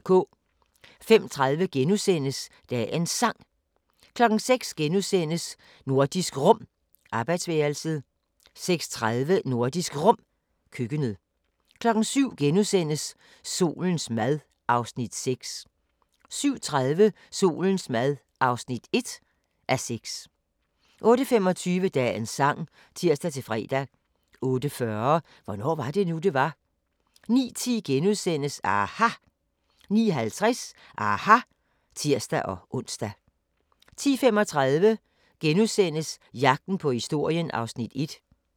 05:30: Dagens Sang * 06:00: Nordisk Rum - arbejdsværelset * 06:30: Nordisk Rum - køkkenet 07:00: Solens mad (Afs. 6)* 07:30: Solens mad (1:6) 08:25: Dagens sang (tir-fre) 08:40: Hvornår var det nu, det var? 09:10: aHA! * 09:50: aHA! (tir-ons) 10:35: Jagten på historien (1:8)*